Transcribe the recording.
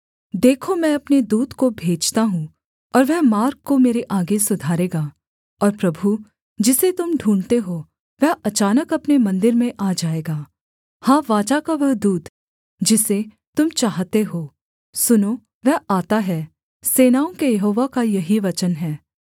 देखो मैं अपने दूत को भेजता हूँ और वह मार्ग को मेरे आगे सुधारेगा और प्रभु जिसे तुम ढूँढ़ते हो वह अचानक अपने मन्दिर में आ जाएगा हाँ वाचा का वह दूत जिसे तुम चाहते हो सुनो वह आता है सेनाओं के यहोवा का यही वचन है